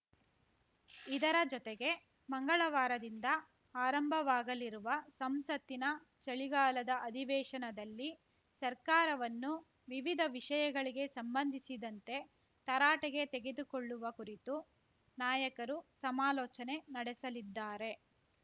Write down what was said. ಇದರ ಜೊತೆಗೆ ಮಂಗಳವಾರದಿಂದ ಆರಂಭವಾಗಲಿರುವ ಸಂಸತ್ತಿನ ಚಳಿಗಾಲದ ಅಧಿವೇಶನದಲ್ಲಿ ಸರ್ಕಾರವನ್ನು ವಿವಿಧ ವಿಷಯಗಳಿಗೆ ಸಂಬಂಧಿಸಿದಂತೆ ತರಾಟೆಗೆ ತೆಗೆದುಕೊಳ್ಳುವ ಕುರಿತೂ ನಾಯಕರು ಸಮಾಲೋಚನೆ ನಡೆಸಲಿದ್ದಾರೆ